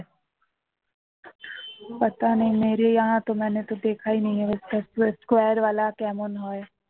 square কেমন হয়